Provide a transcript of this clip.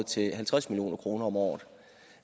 til halvtreds million kroner om året